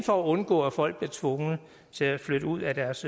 for at undgå at folk bliver tvunget til at flytte ud af deres